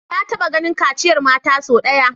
Na taba ganin kaciyar mata sau daya